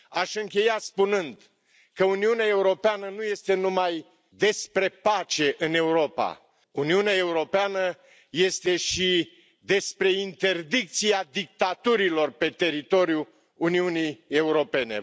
Aș încheia spunând că Uniunea Europeană nu este numai despre pace în Europa, Uniunea Europeană este și despre interdicția dictaturilor pe teritoriul Uniunii Europene.